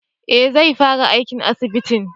Eh zai fara aiki a asibiti